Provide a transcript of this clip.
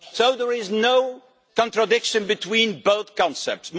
So there is no contradiction between both concepts.